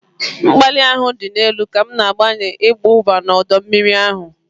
Mkpali ahụ dị elu ka m na-agbanị ịwụba n'ọdọ mmiri ahụ